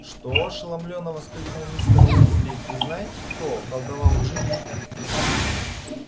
что ошеломлённо воскликнул мистер уизли вы знаете кто околдовал джинни